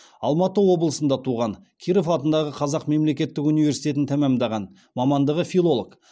алматы облысында туған киров атындағы қазақ мемлекеттік университетін тәмамдаған мамандығы филолог